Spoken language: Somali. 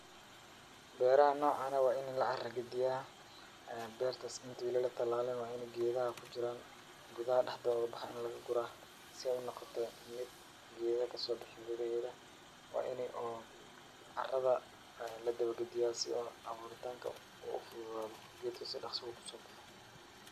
Beerahan noocan ah waa in la cara gediyaa. Beertas inta uu la talaalin geedaha ku jiraan gudaha dhexdooda ku baxay in laga guraa si ay u noqoto mid geeda ka soo bixin gudaheeda. Waa inay oo carada ay la daba gediyaa si oo abuuritaanka uu u fududaado geedka si dakhsa uu ku soo baxo.